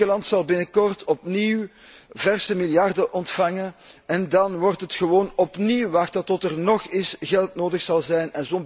Griekenland zal binnenkort opnieuw verse miljarden ontvangen en daarna wordt het gewoon opnieuw wachten tot er weer geld nodig zal zijn.